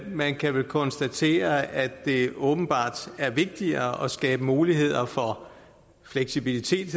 man kan vel konstatere at det åbenbart er vigtigere at skabe muligheder for fleksibilitet